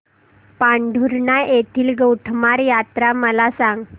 पांढुर्णा येथील गोटमार यात्रा मला सांग